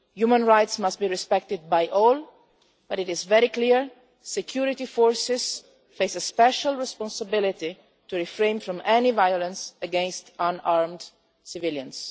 Human rights must be respected by all but it is very clear security forces face a special responsibility to refrain from any violence against unarmed civilians.